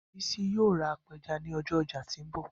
Bisi yoo ra apẹja ni ọjọ ọja ti nbọ